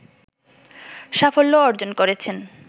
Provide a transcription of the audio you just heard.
সাফল্য অর্জন করেছেন